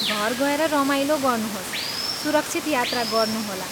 घर गएर रमाइलो गर्नुहोस्, सुरक्षित यात्रा गर्नुहोला।